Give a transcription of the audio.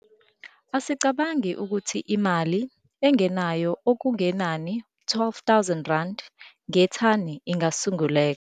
Asicabange ukuthi imali engenayo okungenani u-R12 000 ngethani ingasunguleka.